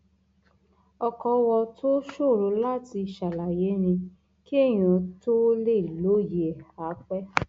ọkọọwọ tó ṣòro láti ṣàlàyé ni kéèyàn tóó lè lóye ẹ áà pé